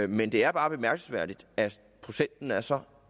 men det er bare bemærkelsesværdigt at procenten er så